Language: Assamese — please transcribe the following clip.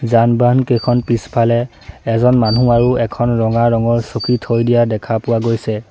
যান বাহন কেইখন পিছফালে এজন মানুহ এখন ৰঙা ৰঙৰ চকী থৈ দিয়া দেখা পোৱা গৈছে।